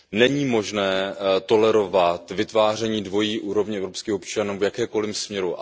Není možné tolerovat vytváření dvojí úrovně evropských občanů v jakémkoliv směru.